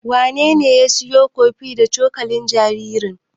Wanene ya siyo kofi da cokalin jaririn?